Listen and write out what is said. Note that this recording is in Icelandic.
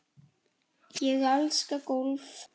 Ég elska golf.